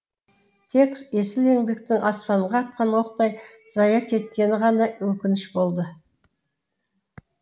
тек есіл еңбектің аспанға атқан оқтай зая кеткені ғана өкініш болды